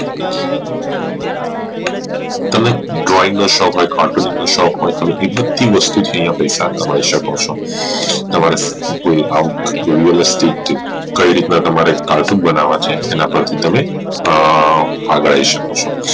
તમને drawing નો શોખ હોઈ cartooning નો શોખ હોઈ તો એમાંથી પૈસા કમાઈ શકો છો તમારે કઈ રીતના તમારે cartoon બનવા છે અને પરથી તમે એ આગાહી શકો છો